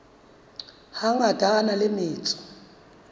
hangata a na le metso